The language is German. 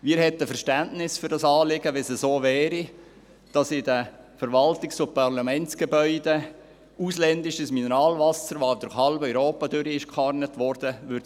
Wir hätten Verständnis für das Anliegen, wenn es so wäre, dass in den Verwaltungs- und Parlamentsgebäuden ausländisches Mineralwasser angeboten würde, das durch halb Europa transportiert worden wäre.